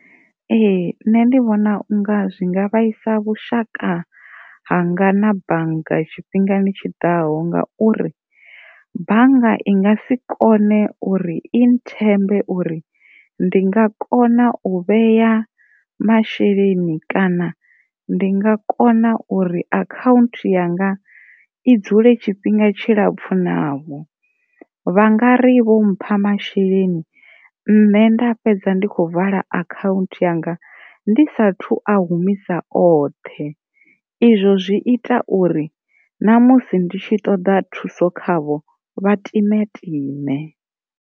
Ee, nṋe ndi vhona unga zwi nga vhaisa vhushaka hanga na bannga tshifhingani tshiḓaho ngauri bannga i ngasi kone uri i nthembe ngauri ndi nga kona u vhea masheleni kana ndi nga kona uri akhanthu yanga i dzule tshifhinga tshilapfhu navho, vha ngari vho mpha masheleni nṋe nda fhedza ndi kho humisa akhanthu yanga ndi sathu a humisa oṱhe izwo zwi ita uri na musi ndi tshi ṱoda thuso khavho vha timetime.